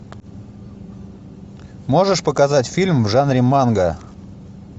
можешь показать фильм в жанре манга